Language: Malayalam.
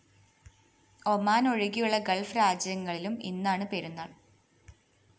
ഒമാന്‍ ഒഴികെയുള്ള ഗൾഫ്‌ രാജ്യങ്ങളിലും ഇന്നാണ് പെരുന്നാള്‍